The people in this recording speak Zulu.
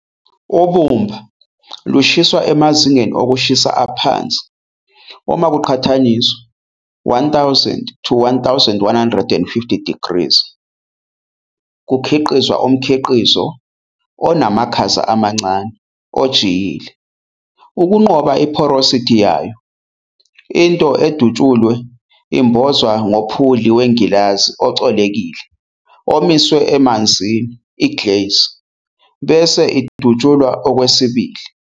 Ubumba lushiswa emazingeni okushisa aphansi uma kuqhathaniswa, 1,000-1,150 degrees kukhiqizwa umkhiqizo onamakhaza amancane, ojiyile. Ukunqoba i-porosity yayo, into edutshuliwe imbozwa ngophuli wengilazi ocolekile omiswe emanzini, i-glaze, bese idutshulwa okwesibili.